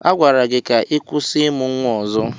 Agwara gị ka ị kwụsị ịmụ nwa ọzọ!